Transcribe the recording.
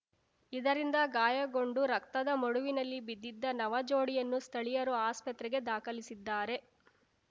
ಇದರಿಂದ ಗಾಯಗೊಂಡು ರಕ್ತದ ಮಡುವಿನಲ್ಲಿ ಬಿದ್ದಿದ್ದ ನವಜೋಡಿಯನ್ನು ಸ್ಥಳೀಯರು ಆಸ್ಪತ್ರೆಗೆ ದಾಖಲಿಸಿದ್ದಾರೆ